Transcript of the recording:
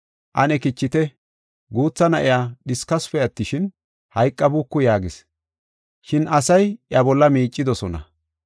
“Ane kichite; guutha na7iya dhiskasupe attishin, hayqabuuku” yaagis. Shin asay iya bolla miicidosona.